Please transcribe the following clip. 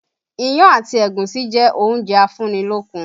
Iyán àti ẹ̀gúsí jẹ́ oúnjẹ afúnni-lókun